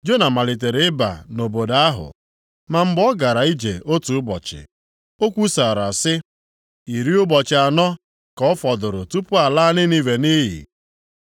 Jona malitere ịba nʼobodo ahụ, ma mgbe ọ gara ije otu ụbọchị, o kwusara sị, “Iri ụbọchị anọ ka ọ fọdụrụ tupu alaa Ninive nʼiyi.”